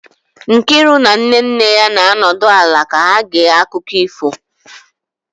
Nkiru na nne nne ya na-anọdụ ala ka ha gee akụkọ ifo